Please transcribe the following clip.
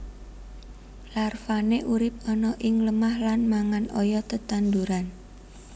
Larvane urip ana ing lemah lan mangan oyot tetanduran